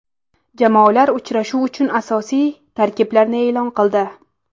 Jamoalar uchrashuv uchun asosiy tarkiblarini e’lon qildi.